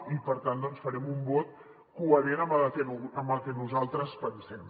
i per tant farem un vot coherent amb el que nosaltres pensem